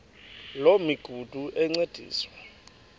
loo migudu encediswa